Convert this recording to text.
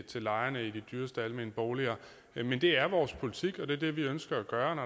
til lejerne i de dyreste almene boliger men det er vores politik og det er det vi ønsker at gøre når